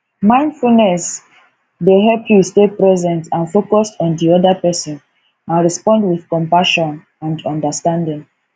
mindfulness dey help you stay present and focused on di oda pesin and respond with compassion and understanding